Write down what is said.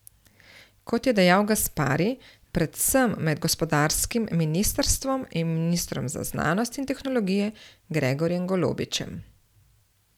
Kot je dejal Gaspari, predvsem med gospodarskim ministrstvom in ministrom za znanost in tehnologijo Gregorjem Golobičem.